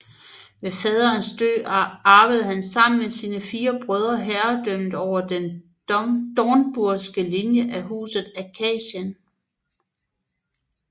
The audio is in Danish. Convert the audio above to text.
Ved faderens død arvede han sammen med sine fire brødre herredømmet over den dornburgske linje af Huset Askanien